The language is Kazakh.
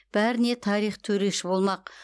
бәріне тарих төреші болмақ